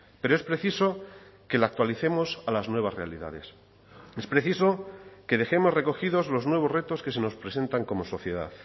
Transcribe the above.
pero es preciso que la actualicemos a las nuevas realidades es preciso que dejemos recogidos los nuevos retos que se nos presentan como sociedad